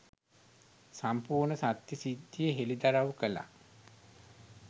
සම්පූර්ණ සත්‍ය සිද්ධිය හෙළිදරව් කළා